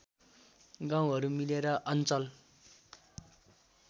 गाउँहरू मिलेर अञ्चल